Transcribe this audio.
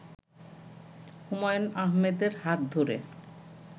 হুমায়ূন আহমেদের হাত ধরে